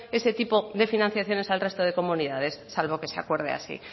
este tipo de financiaciones al resto de comunidades salvo que se acuerde así